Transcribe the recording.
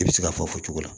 I bɛ se k'a fɔ fɔ cogo la